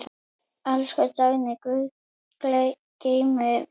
Elsku Dagný, Guð geymi þig.